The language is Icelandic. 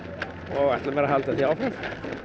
og ætla mér að halda því áfram